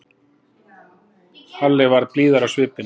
Halli varð blíðari á svipinn.